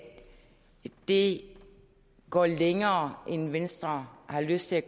det går længere end venstre har lyst til at